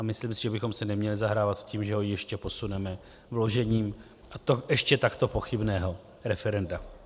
A myslím si, že bychom si neměli zahrávat s tím, že ho ještě posuneme vložením - a to ještě takto pochybného - referenda.